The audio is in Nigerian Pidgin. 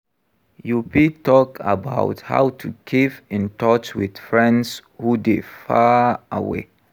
You fit talk about how to keep in touch with friends who dey far away.